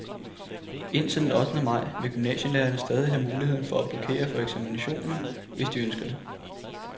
Indtil den ottende maj, vil gymnasielærerne stadig have muligheden for at blokere for eksaminationen, hvis de ønsker det.